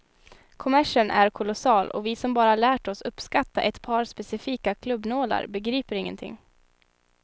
Kommersen är kolossal och vi som bara lärt oss uppskatta ett par specifika klubbnålar begriper ingenting.